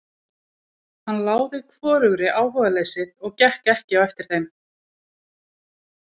Hann láði hvorugri áhugaleysið og gekk ekki á eftir þeim.